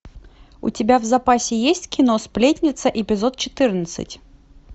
у тебя в запасе есть кино сплетница эпизод четырнадцать